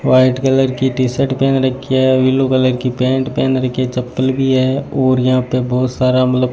white colour की T shirt पहन रखी है ब्लू कलर की पैंट पहन रखी हैं चप्पल भी है और यहां पे बहुत सारा मतलब --